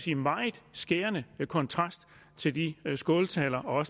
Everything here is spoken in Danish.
i meget skærende kontrast til de skåltaler og